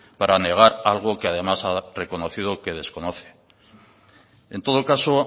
para negar algo que además ha reconocido que desconoce en todo caso